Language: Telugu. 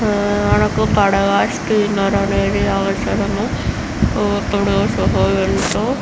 మనకు పడవ స్టీమర్ అనేది అవసరం. ఇప్పుడు --